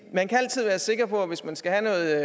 man kan altid være sikker på at hvis man skal have